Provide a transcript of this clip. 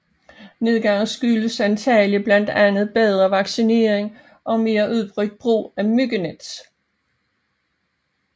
Nedgangen skyldes antagelig blandt andet bedre vaccinering og mere udbredt brug af myggenet